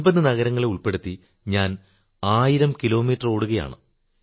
50 നഗരങ്ങളെ ഉൾപ്പെടുത്തി ഞാൻ 1000 കിലോ മീറ്റർ ഓടുകയാണ്